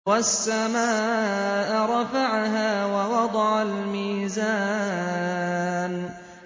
وَالسَّمَاءَ رَفَعَهَا وَوَضَعَ الْمِيزَانَ